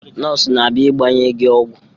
Nọọsụ na-abịa ịgbanye gị ọgwụ.